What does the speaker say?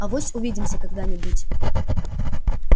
авось увидимся когда-нибудь